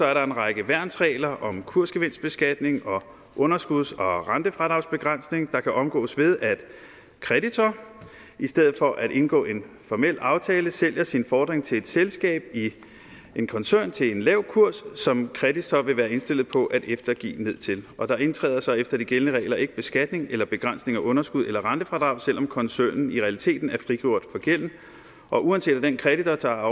er der en række værnsregler om kursgevinstbeskatning og underskuds og rentefradragsbegrænsning der kan omgås ved at kreditor i stedet for at indgå en formel aftale sælger sin fordring til et selskab i en koncern til en lav kurs som kreditor vil være indstillet på at eftergive ned til og der indkræves så efter de gældende regler ikke beskatning eller begrænsning af underskud eller rentefradrag selv om koncernen i realiteten er frigjort for gælden og uanset at den kreditor der